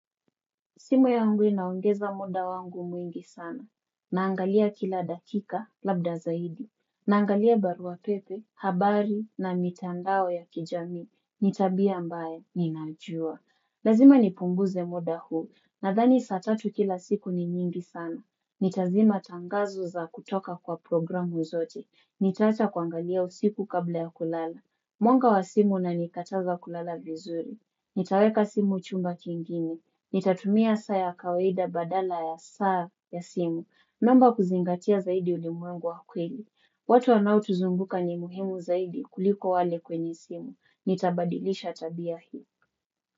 Simu yangu inaongeza muda wangu mwingi sana. Naangalia kila dakika labda zaidi. Naangalia barua pepe, habari na mitandao ya kijamii. Nitabia ambaye, ninajua. Lazima nipunguze muda huu. Nadhani sat atu kila siku ni nyingi sana. Nitazima tangazo za kutoka kwa programu zote. Nitaacha kuangalia usiku kabla ya kulala. Mwanga wa simu unanikataza kulala vizuri. Nitaweka simu uchumba kingine. Nitatumia saa ya kawaida badala ya saa ya simu. Naomba kuzingatia zaidi ulimwengu wa kweli. Watu wanaotuzunguka ni muhimu zaidi kuliko wale kwenye simu. Nitabadilisha tabia hii.